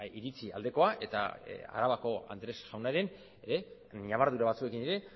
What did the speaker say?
iritzi aldekoa eta arabako andrés jaunaren ñabardura batzuekin ere